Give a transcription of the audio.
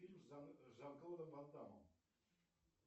фильм с жан клодом ван дамом